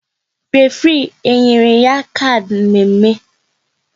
Référé e nyere ya kard mme mme?